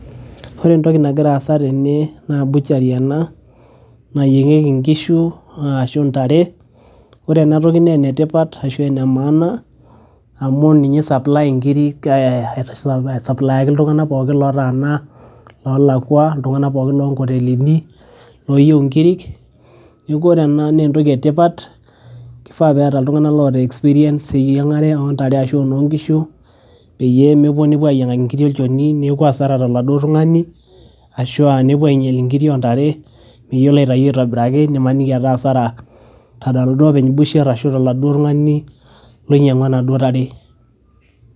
Ore entoki nagira aasa tene, naa butchery ena, nayieng'ieki nkishu, ashu ntare. Ore enatoki ne enetipat ashu enemaana, amu ninye supply inkirik e aisapulaayaki iltung'anak pookin lotaana, lolakua, iltung'anak pookin lonkotelini, loyieu inkirik. Neeku ore ena nentoki etipat, kifaa petaa iltung'anak loota experience eyiang'are ontare ashu enoonkishu, peyie mepuo nepuo ayiang'aki nkiri olchoni, neku asara taladuo tung'ani, ashua nepuo ainyal inkiri ontare, meyiolo aitayu aitobiraki, nimaniki etaa asara tenaduo openy busher ashu taladuo tung'ani loinyang'ua naduo tare.